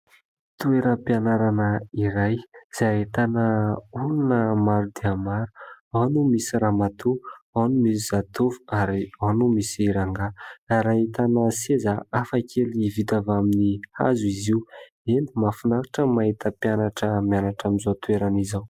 Toeram-pianarana iray izay ahitana olona maro dia maro. Ao no misy ramatoa, ao no misy zatovo ary ao no misy rangahy ary ahitana seza hafakely vita avy amin'ny hazo izy io. Eny ! mahafinaritra ny mahita mpianatra mianatra amin'izao toerana izao.